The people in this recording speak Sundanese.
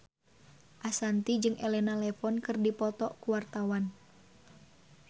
Ashanti jeung Elena Levon keur dipoto ku wartawan